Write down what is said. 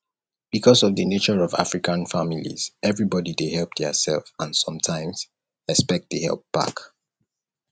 because of di nature of african families everybody dey help their self and sometimes expect di help back